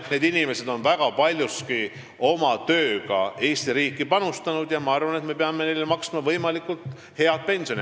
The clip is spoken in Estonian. Need inimesed on väga palju oma tööga Eesti riiki panustanud ja ma arvan, et me peame neile maksma võimalikult head pensioni.